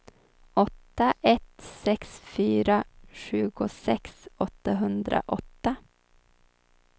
åtta ett sex fyra tjugosex åttahundraåtta